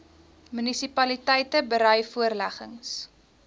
munisipaliteite berei voorleggings